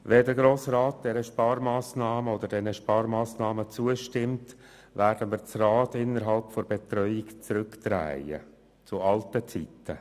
Wenn der Grosse Rat diesen Sparmassnahmen zustimmt, werden wir das Rad in der Betreuung zurückdrehen, zurück zu alten Zeiten.